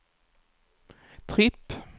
tripp